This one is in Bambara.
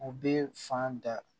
U bɛ fan da